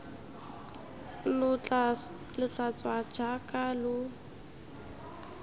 lo tla tswa jaaka lo